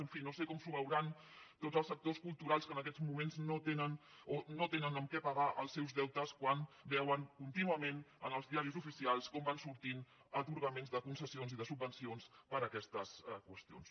en fi no sé com ho veuran tots els sectors culturals que en aquests moments no tenen amb què pagar els seus deutes quan veuen contínuament en els diaris oficials com van sortint atorgaments de concessions i de subvencions per a aquestes qüestions